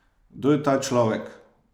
Kdo je ta človek?